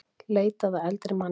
Leitað að eldri manni